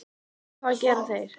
En hvað gera þeir?